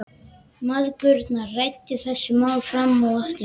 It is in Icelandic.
Mæðgurnar ræddu þessi mál fram og aftur.